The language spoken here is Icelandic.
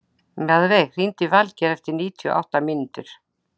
Mjaðveig, hringdu í Valgeir eftir níutíu og átta mínútur.